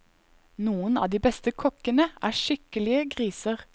Noen av de beste kokkene er skikkelige griser.